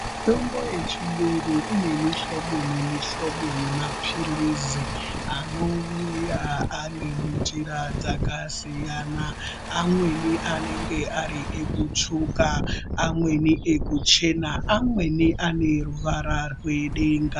Mitombo yechiyungu ine mihlobo nemihlobo yemapilizi anouya ari munjira dzakasiyana. Amweni anenge ari ekutsvuka. Amweni ekuchena, amweni ane ruvara rwedenga.